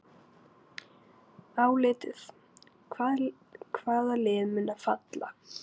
Álitið: Hvaða lið munu falla?